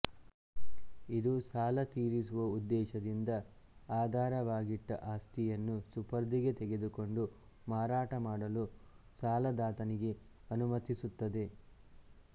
ಇದು ಸಾಲ ತೀರಿಸುವ ಉದ್ದೇಶದಿಂದ ಆಧಾರವಾಗಿಟ್ಟ ಆಸ್ತಿಯನ್ನು ಸುಪರ್ದಿಗೆ ತೆಗೆದುಕೊಂಡು ಮಾರಾಟಮಾಡಲು ಸಾಲದಾತನಿಗೆ ಅನುಮತಿಸುತ್ತದೆ